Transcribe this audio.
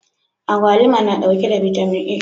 Agwaluma na ɗauke da vitamin a